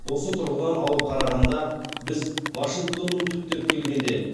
осы тұрғыдан алып қарағанда біз вашингтонның түптеп келгенде